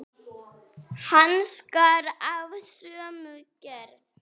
Hanskar af sömu gerð.